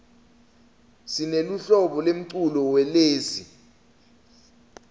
sineluhlobo lemculo welezi